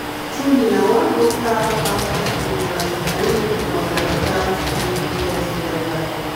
truely na one local outreach program na e make me understand stay test wella